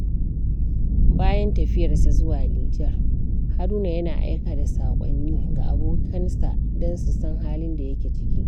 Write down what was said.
Bayan tafiyarsa zuwa Nijar, Haruna yana aika da saƙonni ga abokansa don su san halin da yake ciki.